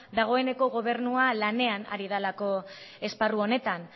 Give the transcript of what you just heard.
dagoeneko gobernua lanean ari delako esparru honetan